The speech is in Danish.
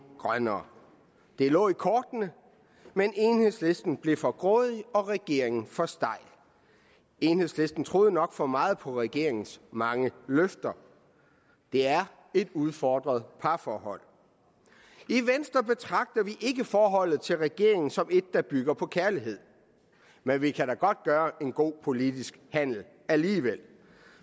grønnere det lå i kortene men enhedslisten blev for grådig og regeringen blev for stejl enhedslisten troede nok for meget på regeringens mange løfter det er et udfordret parforhold i venstre betragter vi ikke forholdet til regeringen som et der bygger på kærlighed men vi kan da godt gøre en god politisk handel alligevel